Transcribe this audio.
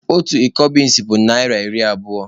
Otu iko binsi bụ naịra iri abụo